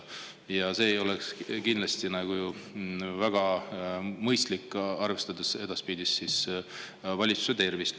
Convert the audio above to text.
Ja see ei ole kindlasti väga mõistlik, arvestades edaspidist valitsuse tervist.